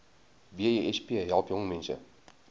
besp help jongmense